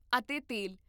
ਅਤੇ ਤੇਲ